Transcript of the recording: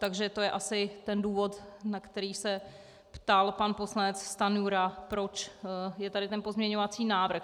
Takže to je asi ten důvod, na který se ptal pan poslanec Stanjura, proč je tady ten pozměňovací návrh.